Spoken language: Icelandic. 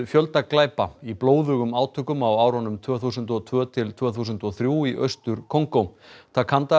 fjölda glæpa í blóðugum átökum á árunum tvö þúsund og tvö til tvö þúsund og þrjú í Austur Kongó